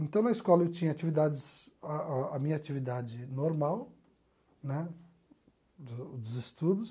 Então, na escola eu tinha atividades a a a minha atividade normal né, do dos estudos.